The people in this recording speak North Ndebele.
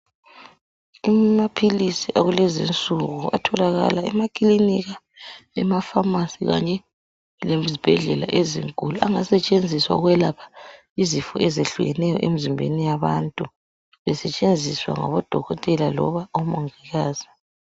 amaphilisi akulezinsuku atholakala emaklinika emafamasi kanye lezibhedlela ezinkulu angasetshenziswa ukwelapha izifo ezehlukeneyo emzimbeni yabantu esetshenziswa ngabo dokotela loba omongikazi.